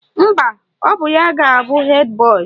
Mba, ọ bụ ya ga-abụ hed boyị